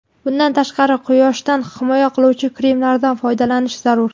Bundan tashqari, quyoshdan himoya qiluvchi kremlardan foydalanish zarur.